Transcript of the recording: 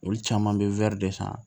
Olu caman bɛ wɔri de san